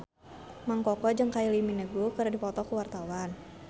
Mang Koko jeung Kylie Minogue keur dipoto ku wartawan